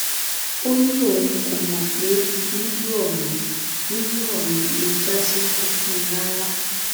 ó ní òun kò mọ pé lílù ọhún lílù ọhún lè já síkú fún un rárá